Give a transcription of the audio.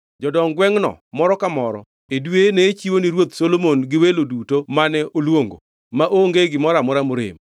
Jodong gwengʼno, moro ka moro e dweye ne chiwo ni ruoth Solomon gi welo duto mane oluongo, maonge gimoro amora morem.